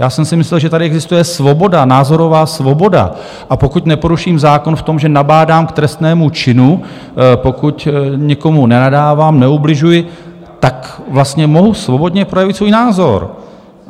Já jsem si myslel, že tady existuje svoboda, názorová svoboda, a pokud neporuším zákon v tom, že nabádám k trestnému činu, pokud někomu nenadávám, neubližuji, tak vlastně mohu svobodně projevit svůj názor.